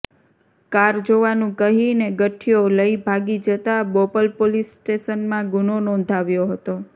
car જોવાનુ કહીને ગઠીયો લઇ ભાગી જતાં બોપલ પોલીસ સ્ટેશનમાં ગુનો નોધાવ્યો હતો